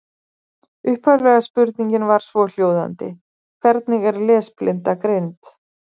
Upphaflega spurningin var svohljóðandi: Hvernig er lesblinda greind?